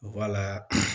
Wala